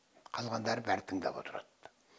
қалғандары бәрі тыңдап отырады